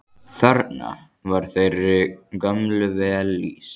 Þarna var þeirri gömlu vel lýst.